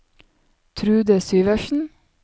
Trude Syversen